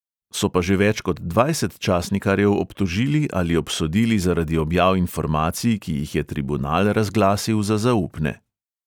So pa že več kot dvajset časnikarjev obtožili ali obsodili zaradi objav informacij, ki jih je tribunal razglasil za zaupne.